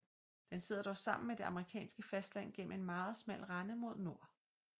Den sidder dog sammen med det amerikanske fastland gennem en meget smal rende mod nord